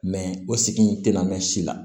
Mɛ o sigi in te na mɛn si la